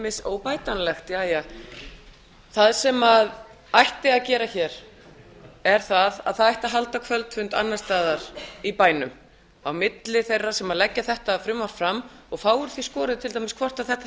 óbætanlegt óbætanlegt jæja það sem ætti að gera hér er að það ætti að halda kvöldfund annars staðar í bænum á milli þeirra sem leggja þetta frumvarp fram og fá úr því skorið til dæmis hvort þetta